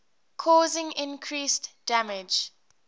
causing increased damage